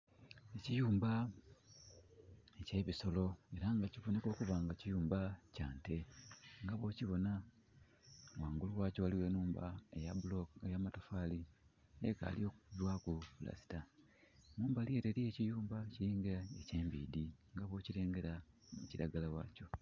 Ekiyumba ekye bisolo era nga kiboneka okuba kiyumba kya nte nga bwokibona nga mumbali gwakyo waliwo enhumba eya matafali ekali okubibwaku pulasita. Mumbali ere eriyo ekiyumba ekiringa ekye mbidi nga bwo kirengera mu kiragala wakyo